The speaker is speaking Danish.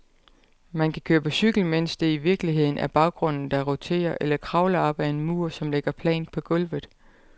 Man kan køre på cykel, mens det i virkeligheden er baggrunden, der roterer, eller kravle op ad en mur, som ligger plant på gulvet.